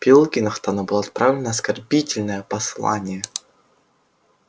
пилкингтону было отправлено оскорбительное послание